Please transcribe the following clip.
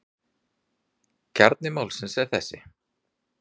Kjarni málsins er þessi.